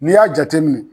N'i y'a jateminɛ